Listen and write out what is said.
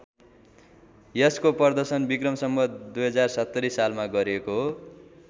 यसको प्रदर्शन विक्रम सम्वत २०७० सालमा गरिएको हो।